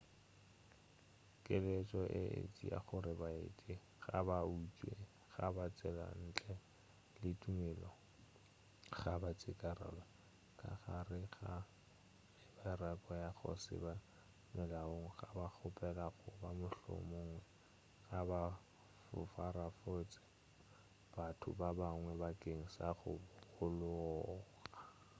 keletšo e etšea gore baeti ga ba utswe ga ba tsele ntle le tumelelo ga ba tšekarolo ka gare ga mebaraka ya go se be molaong ga ba kgopele goba mohlomongwe ga ba foraforetše batho ba bangwe bakeng sa go holega